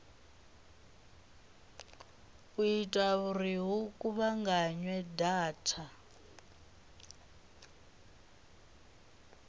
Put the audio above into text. ita uri hu kuvhunganywe data